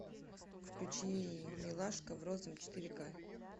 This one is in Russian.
включи милашка в розовом четыре к